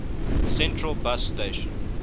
central bus station